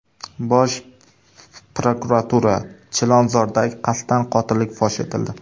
Bosh prokuratura: Chilonzordagi qasddan qotillik fosh etildi.